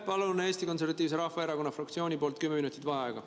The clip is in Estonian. Palun Eesti Konservatiivse Rahvaerakonna fraktsiooni nimel kümme minutit vaheaega.